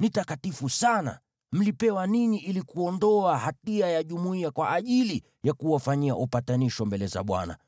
Ni takatifu sana. Mlipewa ninyi ili kuondoa hatia ya jumuiya kwa ajili ya kuwafanyia upatanisho mbele za Bwana .